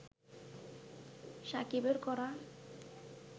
সাকিবের করা